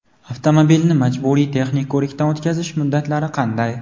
Avtomobilni majburiy texnik ko‘rikdan o‘tkazish muddatlari qanday?.